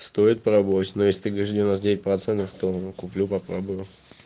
стоит пробовать но если ты говоришь девяносто девять процентов куплю попробую